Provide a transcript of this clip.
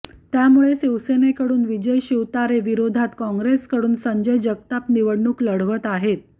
त्यामुळे शिवसेनेकडून विजय शिवतारे विरोधात काँग्रेसकडून संजय जगताप निवडणूक लढवत आहेत